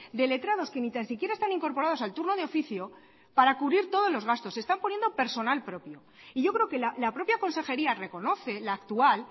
de letrados que ni tan siquiera están incorporados al turno de oficio para cubrir todos los gastos están poniendo personal propio y yo creo que la propia consejería reconoce la actual